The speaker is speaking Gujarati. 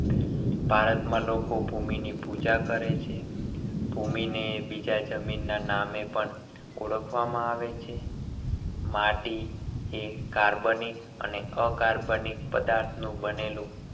ભારતમાં લોકો ભૂમિની પૂજા કરે છે. ભૂમિને બીજા જમીન ના નામે પણ ઓળખવામાં આવે છે. માટી એ carbonic અને acarbonic પદાર્થનું બનેલું